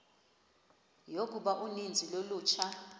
yokuba uninzi lolutsha